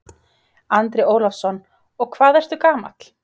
Andri Ólafsson: Og hvað ertu gamall?